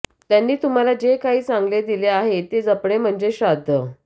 त्यांनी तुम्हाला जे काही चांगले दिले आहे ते जपणे म्हणजेच श्राध्द